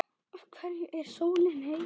Af hverju er sólin heit?